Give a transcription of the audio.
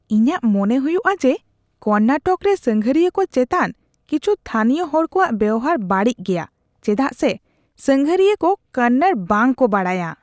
ᱤᱧᱟᱹᱜ ᱢᱚᱱᱮ ᱦᱩᱭᱩᱜᱼᱟ ᱡᱮ ᱠᱚᱨᱱᱟᱴᱚᱠ ᱨᱮ ᱥᱟᱸᱜᱷᱟᱨᱤᱭᱟᱹ ᱠᱚ ᱪᱮᱛᱟᱱ ᱠᱤᱪᱷᱩ ᱛᱷᱟᱹᱱᱤᱭᱚ ᱦᱚᱲ ᱠᱚᱣᱟᱜ ᱵᱮᱣᱦᱟᱨ ᱵᱟᱹᱲᱤᱡ ᱜᱮᱭᱟ ᱪᱮᱫᱟᱜᱥ ᱥᱮ ᱥᱟᱸᱜᱷᱟᱨᱤᱭᱟᱹ ᱠᱚ ᱠᱚᱱᱱᱚᱲ ᱵᱟᱝᱠᱚ ᱵᱟᱲᱟᱭᱟ ᱾